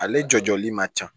Ale jɔli man ca